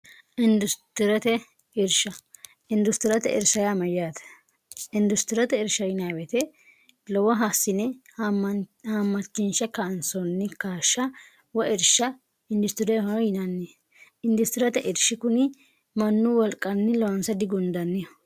industirte irsha industirate irshmayyaate industirate irsh nwte lowo haassine hammachinsha kaansoonni kashsha wairsha hindistidehono yinanni industirate irshi kuni mannu walqanni loonsa digundanni